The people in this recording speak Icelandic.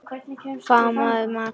Faðmaðu maka þinn.